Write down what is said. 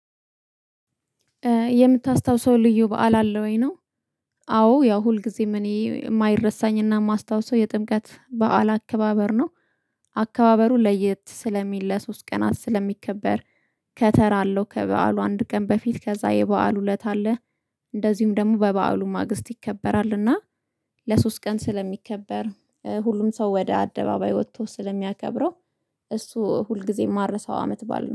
የምታስታውሰው ልዩ በዓል አለ ወይ ነው? አዎ ያው ሁልጊዜም እኔ የማይረሳኝና የማስታውሰው የጥምቀት በዓል አከባበር ነው። አከባበሩ ለየት ስለሚል ለሶስት ቀናት ስለሚከበር። ከተራ አለው ከበዓሉ አንድ ቀን በፊት ከዛ የበአሉ እለት አለ። እንደዚሁም ደግሞ በበዓሉ ማግስት ይከበራል እና ለሶስት ቀን ስለሚከበር ሁሉም ሰው ወደ አደባባይ ወጥቶ ስለሚያከብረው። እሱ ሁልጊዜም ማረሳው አመት በዓል ነው